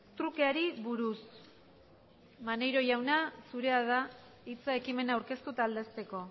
trukeari buruz maneiro jauna zurea da hitza ekimena aurkeztu eta aldezteko